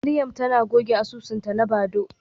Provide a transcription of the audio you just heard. Mariam tana goge asusunta na Badoo.